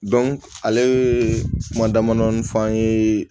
ale kuma damadɔni f'an ye